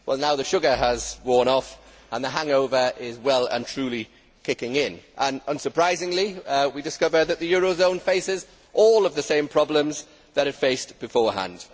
Now the sugar has worn off and the hangover is well and truly kicking in and, unsurprisingly, we discover that the eurzone faces all the same problems that it faced beforehand.